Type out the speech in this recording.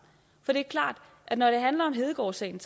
for det er klart at når det handler om hedegaardsagen